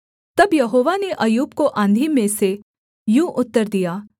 तब यहोवा ने अय्यूब को आँधी में से यूँ उत्तर दिया